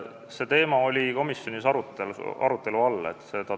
See teema oli komisjonis arutelu all.